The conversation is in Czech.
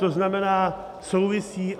To znamená, souvisí.